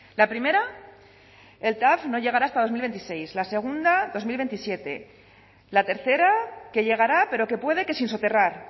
la primera el tav no llegará hasta dos mil veintiséis la segunda dos mil veintisiete la tercera que llegará pero que puede que sin soterrar